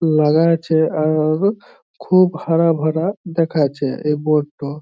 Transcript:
লাগা আছে আর দেখো খুব হারা ভরা দেখা যাচ্ছে এই টো।